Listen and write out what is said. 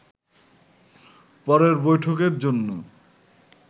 পরের বৈঠকের জন্য